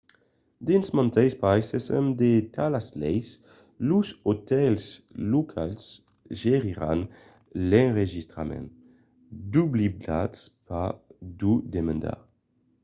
dins mantes païses amb de talas leis los otèls locals geriràn l'enregistrament doblidatz pas d'o demandar